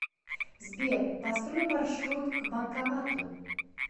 сбер построй маршрут к банкомату